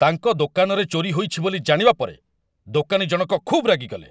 ତାଙ୍କ ଦୋକାନରେ ଚୋରି ହୋଇଛି ବୋଲି ଜାଣିବା ପରେ, ଦୋକାନୀଜଣକ ଖୁବ୍ ରାଗିଗଲେ।